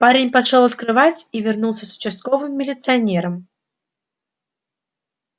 парень пошёл открывать и вернулся с участковым милиционером